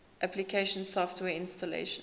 application software installation